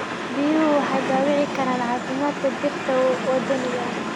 Biyuhu waxay dhaawici karaan caafimaadka dhirta waddaniga ah.